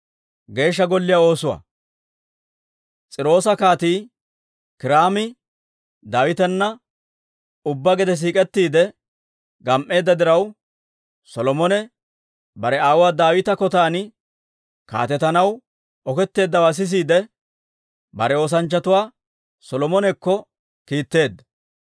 S'iiroosa Kaatii Kiiraami Daawitana ubbaa gede siik'ettiidde gam"eedda diraw, Solomone bare aawuwaa Daawita kotaan kaatetanaw oketteeddawaa sisiide, bare oosanchchatuwaa Solomonekko kiitteedda.